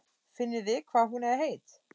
Finnið þið hvað hún er heit?